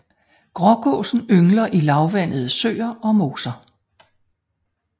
Grågåsen yngler i lavvandede søer og moser